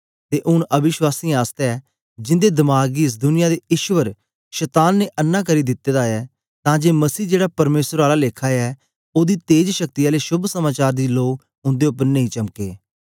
ते ऊन अविश्वासीयें आसतै जिन्दे दमाग गी एस दुनिया दे ईश्वर शतान ने अन्नां करी दिते दा ऐ तां जे मसीह जेड़ा परमेसर आला लेखा ऐ ओदी तेज शक्ति आले शोभ समाचार दी लो उन्दे उपर नेई चमके